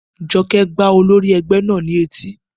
Jọkẹ́ gbá olórí ẹgbẹ́ náà ní etí